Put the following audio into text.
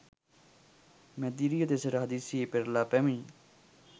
මැදිරිය දෙසට හදිසියේ පෙරළා පැමිණි